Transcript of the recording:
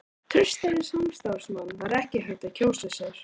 Traustari samstarfsmann var ekki hægt að kjósa sér.